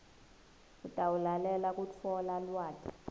utawulalelela kutfola lwati